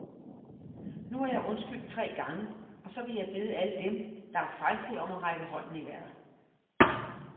Nu har jeg undskyldt tre gange, og så vil jeg bede alle dem, der er fejlfri om at række hånden i vejret.